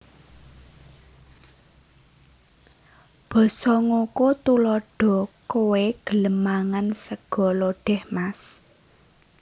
Basa NgokoTuladha Kowé gelem mangan sega lodèh mas